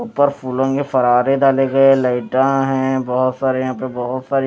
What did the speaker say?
ऊपर फूलों के फराडे डाले गए लाइटा हैं बहोत सारे यहां पे बहोत सारी--